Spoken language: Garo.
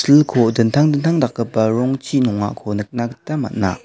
silko dingtang dingtang dakgipa rongchi nongako nikna gita man·a.